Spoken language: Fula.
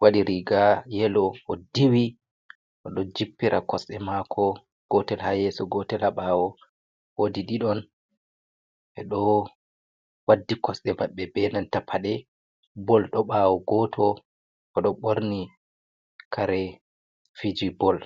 wadi riga yelo, o diwi, o do jippira kosɗe mako gotel ha yeso gotel habawo. Wodi ɗiɗon ɓeɗo waddi kosde maɓɓe be nanta paɗe ball do ɓawo goto o do ɓorni kare fiji ball.